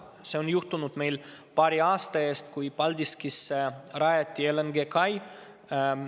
See on juhtunud meil paari aasta eest, kui Paldiskisse rajati LNG-kai.